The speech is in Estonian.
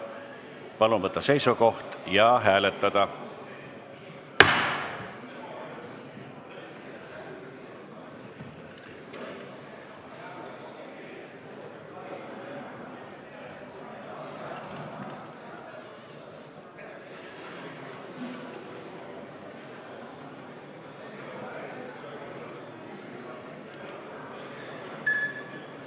Palun võtta seisukoht ja hääletada!